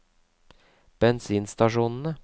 bensinstasjonene